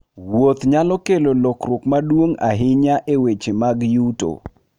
Wuoth nyalo kelo lokruok maduong' ahinya e weche mag yuto.